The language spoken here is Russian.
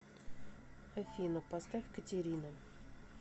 афина поставь катерина